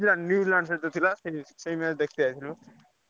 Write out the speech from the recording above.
New Zealand, New Zealand ସହ ଥିଲା ସେଇ match ଦେଖିତେ ଯାଇଥିଲି ବା।